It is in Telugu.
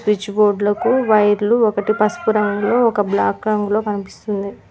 స్విచ్ బోర్డ్ లకు వైర్లు ఒకటి పసుపు రంగులో ఒక బ్లాక్ రంగులో కనిపిస్తుంది.